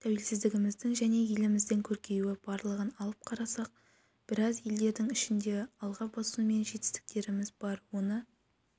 тәуелсіздігіміздің және еліміздің көркеюі барлығын алып қарасақ біраз елдердің ішінде алға басу мен жетістіктеріміз бар оны